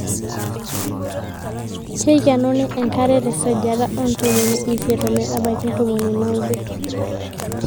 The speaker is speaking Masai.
keikenuni enkare tesajata oo ntomoni isiet ometbaiki ntomoni naaudo